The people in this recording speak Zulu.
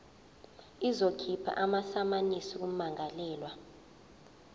izokhipha amasamanisi kummangalelwa